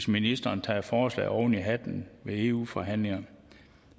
ministeren tager et forslag oven i hatten ved eu forhandlingerne